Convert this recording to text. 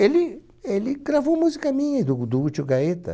Ele ele gravou música minha, do do Útil Gaeta.